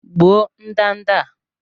Gbuo ndanda a!